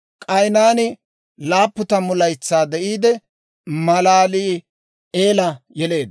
K'aynaani 70 laytsaa de'iide, Malaali'eela yeleedda;